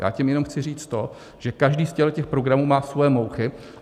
Já tím jenom chci říct to, že každý z těchto programů má svoje mouchy.